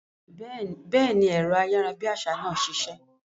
Béèni, ẹ̀rọ ayárabíàṣá náà ṣiṣẹ́